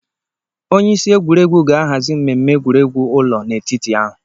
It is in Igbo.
Onye isi egwuregwu ga-ahazi mmemme egwuregwu ụlọ n'etiti ahụ.